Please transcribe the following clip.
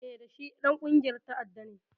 Eh, da shi Ɗan ƙungiyar ta'adda ne